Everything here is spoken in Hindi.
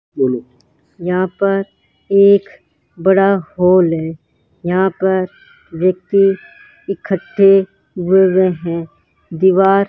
बोलो यहां पर एक बड़ा हॉल है यहां पर व्यक्ति इकट्ठे हुए हुए हैं दीवार --